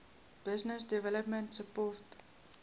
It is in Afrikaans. business development support